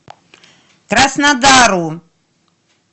краснодару